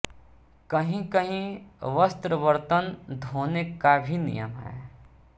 कहींकहीं वस्त्र बर्तन धोने का भी नियम है